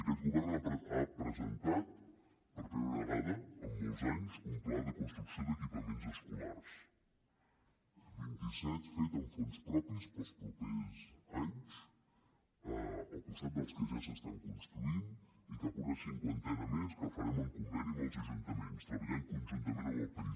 aquest govern ha presentat per primera vegada en molts anys un pla de construcció d’equipaments escolars vint i set fets amb fons propis per als propers anys al costat dels que ja s’estan construint i cap a una cinquantena més que farem amb conveni amb els ajuntaments treballant conjuntament amb el país